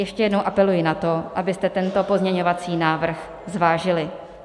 Ještě jednou apeluji na to, abyste tento pozměňovací návrh zvážili.